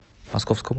московскому